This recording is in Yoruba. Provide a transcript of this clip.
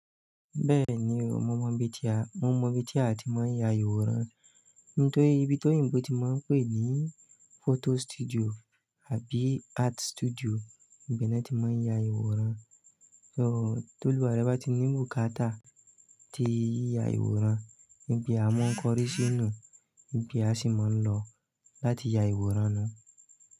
Bẹ́ẹ̀ni o, mo mọ ibi tí a, mo mọ ibi tí a ti máa ń ya ìwòran. Nítorí ibi tí oyinbò ti máa ń pè ní photo studio àbí art studio ibe náà ti máa ń ya ìwòran. So, tólúwa re bà bá ti ní bùkátà tí ya ìwòran níbi àwọn kọ́ríṣẹ́ nù, níbí a sì máa ń lọ láti ya ìwòran náà.